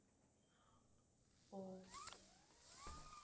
ஓ